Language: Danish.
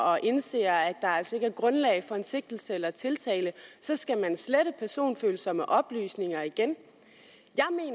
og indser at der altså ikke er grundlag for en sigtelse eller tiltale så skal slette personfølsomme oplysninger igen